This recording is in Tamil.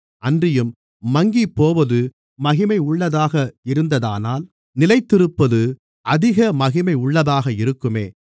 அன்றியும் மங்கிப்போவதே மகிமையுள்ளதாக இருந்ததானால் நிலைத்திருப்பது அதிக மகிமையுள்ளதாக இருக்குமே